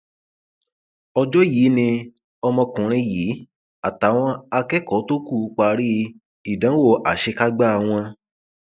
ọjọ yìí ni ọmọkùnrin yìí àtàwọn akẹkọọ tó kù parí ìdánwò àṣekágbá wọn